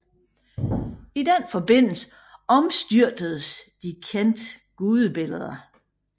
I den forbindelse omstyrtedes de kendte gudebilleder